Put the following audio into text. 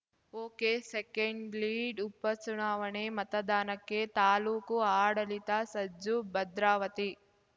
ಒಕೆಸೆಕೆಂಡ್‌ಲೀಡ್‌ಉಪಚುನಾವಣೆ ಮತದಾನಕ್ಕೆ ತಾಲೂಕು ಆಡಳಿತ ಸಜ್ಜು ಭದ್ರಾವತಿ